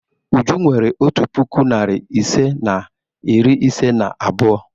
Uju nwere otu puku, narị ise na iri ise na abụọ.